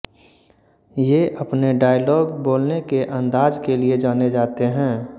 ये अपने डॉयलाग बोलने के अंदाज़ के लिए जाने जाते है